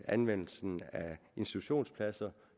anvendelsen af institutionspladser